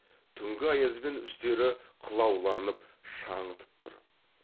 түнгі аязбен үстері қылауланып шаңытып тұр